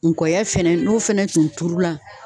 Ngɔyɔya fɛnɛ n'o fɛnɛ tun turula.